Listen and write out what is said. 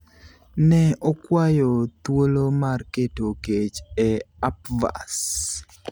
Ne okwayo thuolo mar keto kech e upvaas.